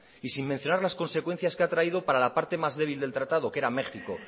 y sin mencionar la consecuencias que ha traído para la parte más débil del tratado que era méjico